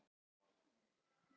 Uppfyllir ekki kröfur